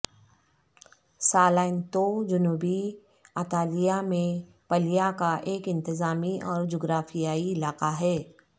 Salento جنوبی اطالیہ میں پلیہ کا ایک انتظامی اور جغرافیائی علاقہ ہے